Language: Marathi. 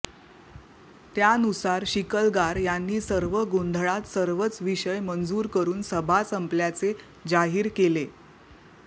त्यानुसार शिकलगार यांनी सर्व गोंधळात सर्वच विषय मंजूर करून सभा संपल्याचे जाहीर केले